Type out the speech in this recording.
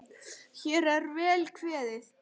Hér er vel kveðið!